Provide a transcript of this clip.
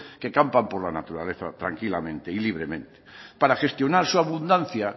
que campan por la naturaleza tranquilamente y libremente para gestionar su abundancia